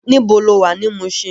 Nibó ló wá ni Mushin?